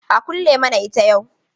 A kulle mana ita yau.